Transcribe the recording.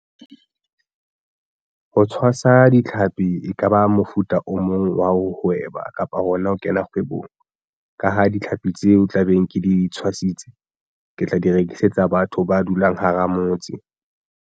Ho tshwasa ditlhapi ekaba mofuta o mong wa ho hweba kapa hona ho kena kgwebong ka ha ditlhapi tseo tla beng ke di tshwasitse ke tla di rekisetsa batho ba dulang hara motse.